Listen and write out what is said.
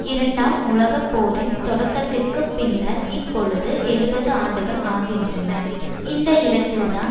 இரண்டாம் உலக போரின் தொடக்கத்திற்கு பின்னர் இப்பொழுது எழுபது ஆண்டுகள் ஆகின்றன இந்த இடத்தில்தான்